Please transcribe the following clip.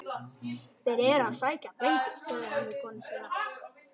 Þeir eru að sækja drenginn, sagði hann við konu sína.